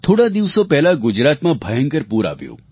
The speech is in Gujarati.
થોડા દિવસો પહેલાં ગુજરાતમાં ભયંકર પૂર આવ્યું